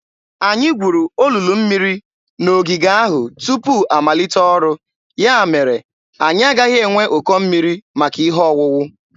Anyị gwuru olulu mmiri n’ogige ahụ tupu amalite ọrụ; ya mere anyị agaghị enwe ụkọ mmiri maka ihe owuwu.